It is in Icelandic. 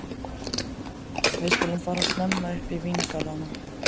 Við skulum fara snemma upp í víngarðana.